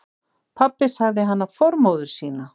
Pabbi sagði hana formóður sína.